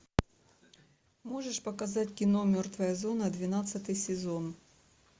можешь показать кино мертвая зона двенадцатый сезон